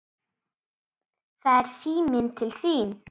Það er síminn til þín.